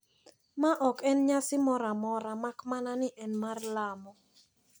Ma ok en nyasi moro amora mak mana ni en mar lamo.